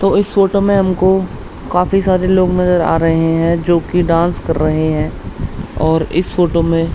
तो इस फोटो में हमको काफी सारे लोग नजर आ रहे हैं जो की डांस कर रहे हैं और इस फोटो में --